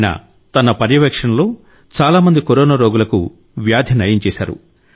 ఆయన తన పర్యవేక్షణలో చాలా మంది కరోనా రోగులకు వ్యాధి నయం చేశారు